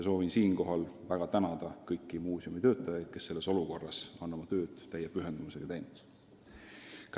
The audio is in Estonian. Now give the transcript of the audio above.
Soovin siinkohal väga tänada kõiki muuseumi töötajaid, kes selles olukorras on oma tööd täie pühendumusega teinud.